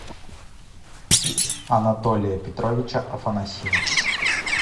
анатолия петровича афанасьева